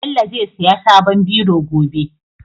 Bello zai siya sabon biro gobe